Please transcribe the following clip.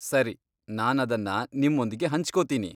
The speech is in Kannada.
ಸರಿ, ನಾನದನ್ನ ನಿಮ್ಮೊಂದಿಗೆ ಹಂಚ್ಕೋತೀನಿ.